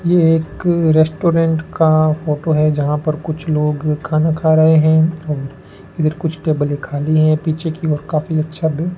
ये एक रेस्टोरेंट का फोटो है जहां पर कुछ लोग खाना खा रहे हैं और कुछ टेबलें खाली है पीछे की ओर काफी अच्छा --